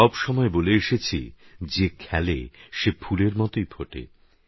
সবসময়বলেএসেছি যেখেলে সেফুলেরমতোইফোটে